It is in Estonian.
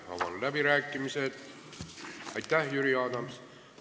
Aitäh, Jüri Adams!